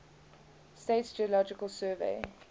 states geological survey